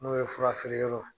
N'o ye fura feereyɔrrɔ